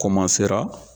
Koma sera